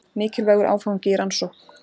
Mikilvægur áfangi í rannsókn